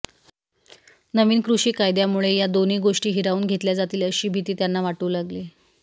नवीन कृषी कायद्यांमुळे या दोन्ही गोष्टी हिरावून घेतल्या जातील अशी भीती त्यांना वाटू लागली